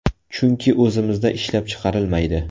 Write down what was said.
Chunki o‘zimizda ishlab chiqarilmaydi.